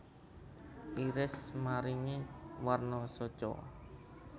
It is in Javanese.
Iris maringi warna soca